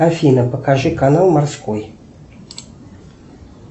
афина покажи канал морской